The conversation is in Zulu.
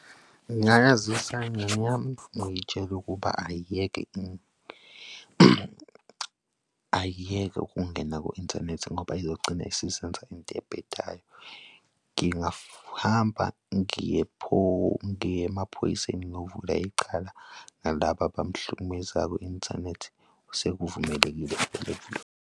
Ngingayazisa ingane yami ngiyitshele ukuba ayiyeke ayiyeke ukungena ku-inthanethi ngoba izogcina isizenza iy'nto ey'bhedayo. Ngingahamba ngiye ngiye emaphoyiseni ngiyovula yicala, nalaba abamhlukumezayo kwi-inthanethi sekuvumelekile .